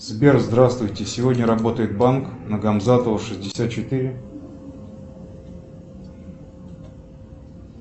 сбер здравствуйте сегодня работает банк на гамзатова шестьдесят четыре